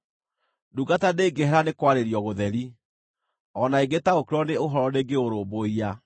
Ndungata ndĩngĩhera nĩ kwarĩrio gũtheri; o na ĩngĩtaũkĩrwo nĩ ũhoro ndĩngĩũrũmbũiya.